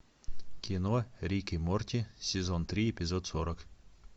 кино рик и морти сезон три эпизод сорок